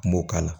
Kun m'o k'a la